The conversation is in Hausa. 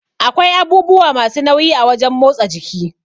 Akwai abubuwa masu nauyi a wajan motsa jiki